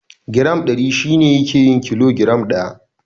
Giram Ɗari shi ne yake yin kilo giram ɗaya.